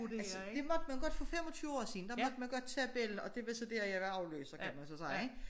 Altså det måtte man godt for 25 år siden der måtte man godt tage bella og det var så dér jeg var afløser kan man så sige ik